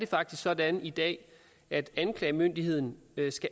faktisk sådan i dag at anklagemyndigheden